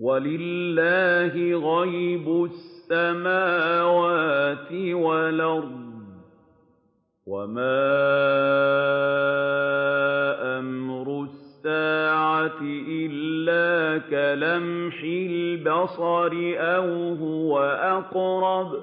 وَلِلَّهِ غَيْبُ السَّمَاوَاتِ وَالْأَرْضِ ۚ وَمَا أَمْرُ السَّاعَةِ إِلَّا كَلَمْحِ الْبَصَرِ أَوْ هُوَ أَقْرَبُ ۚ